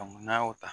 n'a y'o ta